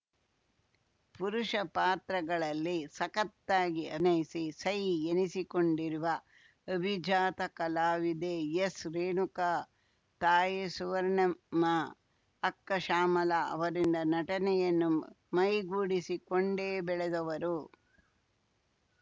ಪುರುಷ ಪಾತ್ರಗಳಲ್ಲಿ ಸಖತ್ತಾಗಿ ಅಭಿನಯಿಸಿ ಸೈ ಎನಿಸಿಕೊಂಡಿರುವ ಅಭಿಜಾತ ಕಲಾವಿದೆ ಎಸ್‌ರೇಣುಕಾ ತಾಯಿ ಸುವರ್ಣಮ್ಮ ಅಕ್ಕ ಶ್ಯಾಮಲಾ ಅವರಿಂದ ನಟನೆಯನ್ನು ಮೈಗೂಡಿಸಿಕೊಂಡೇ ಬೆಳೆದವರು